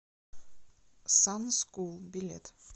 сан скул билет